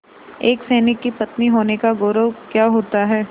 एक सैनिक की पत्नी होने का गौरव क्या होता है